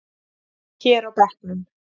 Hér á bekknum.